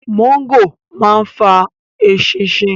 mọ́ńgòrò ma ń fa “ eṣinṣin”